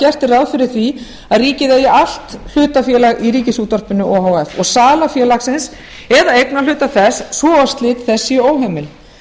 gert er ráð fyrir að ríkið eigi allt hlutafélag í ríkisútvarpinu o h f sala félagsins eða eignarhluta þess svo og slit þess sé óheimil